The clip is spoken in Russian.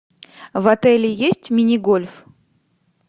в отеле есть мини гольф